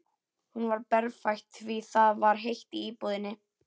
Hún var berfætt því það var heitt í íbúðinni.